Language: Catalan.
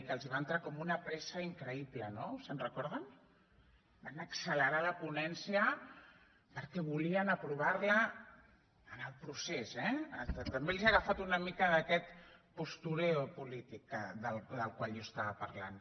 que els va entrar com una pressa increïble no se’n recorden van accelerar la ponència perquè volien aprovar la en el procés eh també els ha agafat una mica d’aquest postureoqual jo estava parlant